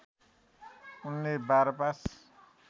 उनले १२ पास